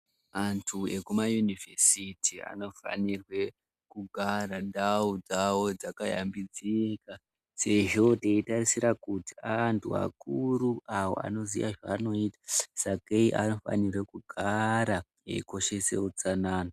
Antu ekumayunivhesiti anofanirwe kugara ndau dzavo dzakashambidzika sezvo teitarisira kuti aaantu vakuru avo anoziya zvavanoita. Sakei anofanire kugara eikoshese utsanana.